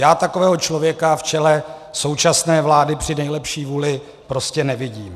Já takového člověka v čele současné vlády při nejlepší vůli prostě nevidím.